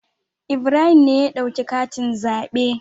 Ibrahim ne ya dauki katin zaɓe.